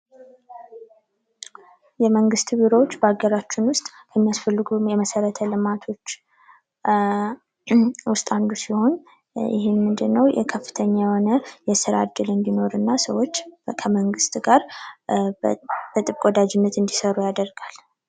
የመንግት ቢሮዎች በሀገራችን ውስጥ የሚያስፈልጉን የመሰረተ ልማቶች ውስጥ አንዱ ሲሆን ይህ ምንድነው የከፍተኛ የሆነ የስራ ዕድል እንዲኖርና ሰዎች ከመንግስት ጋር በጥብቅ ወዳጅነት እንዲሰሩ ያደርጋል ::